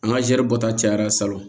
An ka zɛri bɔta cayara salon